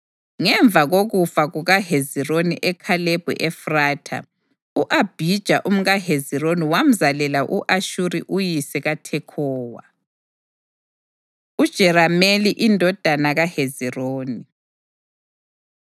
Ngemva kokufa kukaHezironi eKhalebi-Efratha, u-Abhija umkaHezironi wamzalela u-Ashuri uyise kaThekhowa. UJerameli Indodana KaHezironi